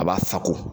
A b'a sako